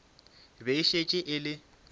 be e šetše e le